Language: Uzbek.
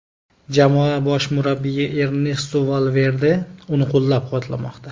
Jamoa bosh murabbiyi Ernesto Valverde uni qo‘llab-quvvatlamoqda.